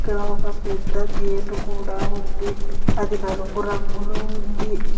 ఒక పెద్ద గేటు కూడా ఉంది అది నలుపు రంగులో ఉంది.